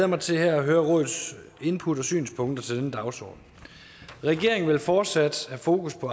mig til at høre rådets input og synspunkter til denne dagsorden regeringen vil fortsat have fokus på